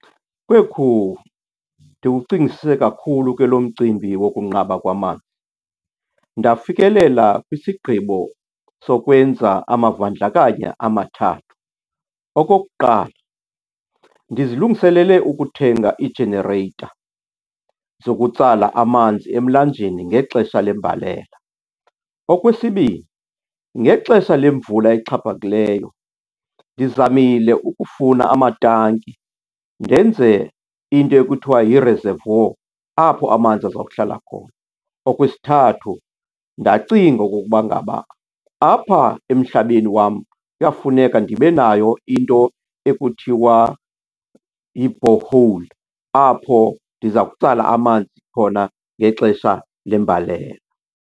Kwekhu! Ndiwucingisise kakhulu ke lo mcimbi wokunqaba kwamanzi, ndafikelela kwisigqibo sokwenza amavandlakanya amathathu. Okokuqala, ndizilungiselele ukuthenga ii-generator zokutsala amanzi emlanjeni ngexesha lembalela. Okwesibini, ngexesha lemvula exhaphakileyo ndizamile ukufuna amatanki, ndenze into ekuthiwa yi-reservoir apho amanzi azokuhlala khona. Okwesithathu, ndacinga okokuba ngaba apha emhlabeni wam kuyafuneka ndibe nayo into ekuthiwa yi-borehole apho ndiza kutsala amanzi khona ngexesha lembalela.